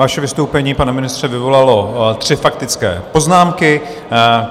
Vaše vystoupení, pane ministře, vyvolalo tři faktické poznámky.